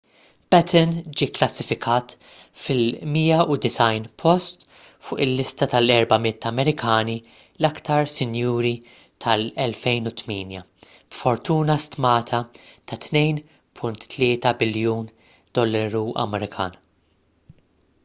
batten ġie kklassifikat fil-190 post fuq il-lista tal-400 amerikani l-iktar sinjuri tal-2008 b'fortuna stmata ta' $2.3 biljun